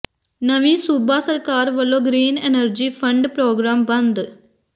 ਨਵੀਂ ਸੂਬਾ ਸਰਕਾਰ ਵੱਲੋਂ ਗਰੀਨ ਐਨਰਜੀ ਫੰਡ ਪ੍ਰੋਗਰਾਮ ਬੰਦ